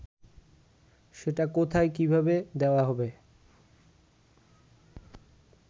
সেটা কোথায় কীভাবে দেওয়া হবে